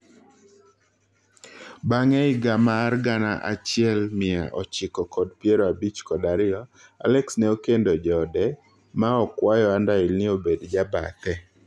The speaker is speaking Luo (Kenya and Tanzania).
Bang'e higa mar gana achiel mia ochiko kod piero abich kod ariyo, Alex ne okendo jode ma okwayo Underhill ni obed jabathe.